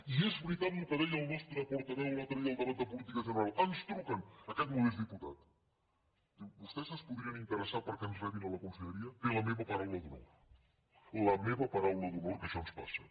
i és veritat el que deia el nostre portaveu l’altre dia al debat de política general ens truquen a aquest modest diputat li diuen vostès es podrien interessar perquè ens rebin a la conselleria té la meva paraula d’honor la meva paraula d’honor que això ens passa